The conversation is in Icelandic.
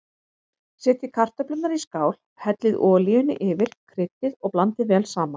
Setjið kartöflurnar í skál, hellið olíunni yfir, kryddið og blandið vel saman.